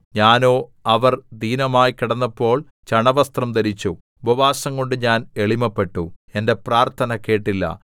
ഞാനോ അവർ ദീനമായി കിടന്നപ്പോൾ ചണവസ്ത്രം ധരിച്ചു ഉപവാസം കൊണ്ട് ഞാൻ എളിമപ്പെട്ടു എന്റെ പ്രാർത്ഥന കേട്ടില്ല